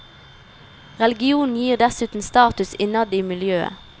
Religionen gir dessuten status innad i miljøet.